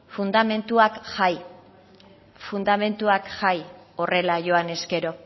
fundamentuak jai fundamentuak jai horrela joan ezkero